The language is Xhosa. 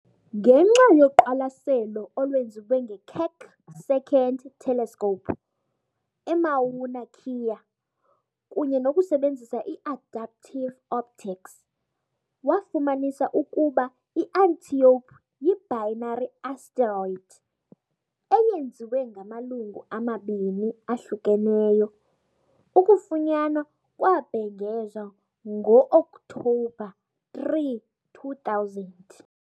ngenxa yoqwalaselo olwenziwe ngeKeck II Telescope eMauna Kea kunye nokusebenzisa i-adaptive optics, wafumanisa ukuba iAntiope yibinary asteroid, eyenziwe ngamalungu amabini ahlukeneyo, ukufunyanwa kwabhengezwa ngo-Oktobha 3, 2000.